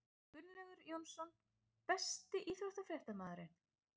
Gunnlaugur Jónsson Besti íþróttafréttamaðurinn?